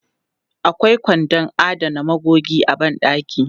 Akwai kwandon adana magogi a ban ɗaki.